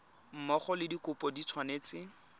mmogo le dikopo di tshwanetse